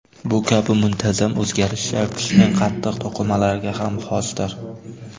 Bu kabi muntazam o‘zgarishlar tishning qattiq to‘qimalariga ham xosdir.